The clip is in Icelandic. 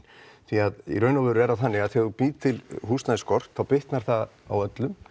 því í raun og veru er það þannig að þegar þú býrð til húsnæðisskort þá bitnar það á öllum